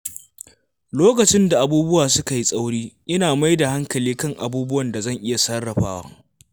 Lokacin da abubuwa suka yi tsauri, ina mai da hankali kan abubuwan da zan iya sarrafawa.